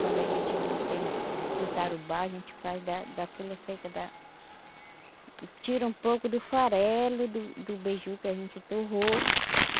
Quando a gente não tem do tarubá, a gente faz da da folha seca da... Tira um pouco do farelo, do do beiju que a gente torrou.